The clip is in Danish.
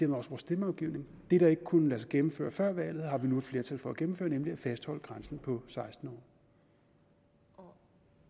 vores stemmeafgivning det der ikke kunne lade sig gennemføre før valget har vi nu et flertal for at gennemføre nemlig at fastholde grænsen på seksten år